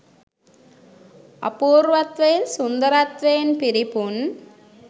අපූර්වත්වයෙන් සුන්දරත්වයෙන් පිරිපුන්